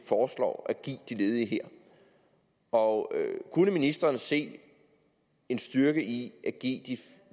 foreslår at give de ledige her og kunne ministeren se en styrke i at give de